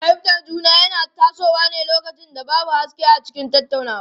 Rashin fahimtar juna yana tasowa ne lokacin da babu haske a cikin tattaunawa.